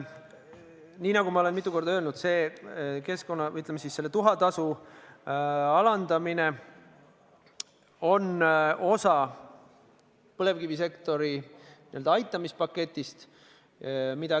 Nii nagu ma olen mitu korda öelnud: selle tuhatasu alandamine on osa põlevkivisektori aitamise paketist.